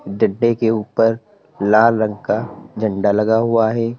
डंडे के ऊपर लाल रंग का झंडा लगा हुआ है।